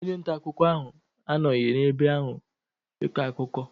Onye nta akụkọ ahụ anọghị n'ebe ahụ ịkọ akụkọ.